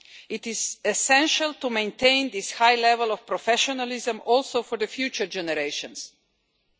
It is essential to maintain this high level of professionalism for future generations too.